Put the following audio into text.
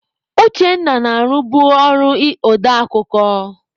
Uchenna na-arụbu ọrụ odeakụkọ.